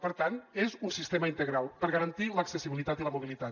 per tant és un sistema integral per garantir l’accessibilitat i la mobilitat